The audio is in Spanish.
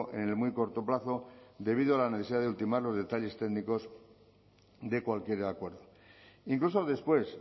en el muy corto plazo debido a la necesidad de ultimar los detalles técnicos de cualquier acuerdo incluso después